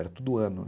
Era tudo ano, né?